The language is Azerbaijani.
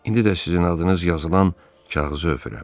İndi də sizin adınız yazılan kağızı öpürəm.